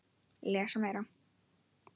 Lesa meira.